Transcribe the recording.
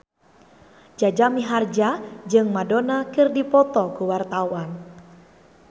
Jaja Mihardja jeung Madonna keur dipoto ku wartawan